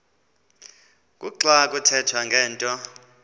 kuxa kuthethwa ngento